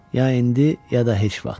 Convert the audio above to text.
Ya indi, ya da heç vaxt.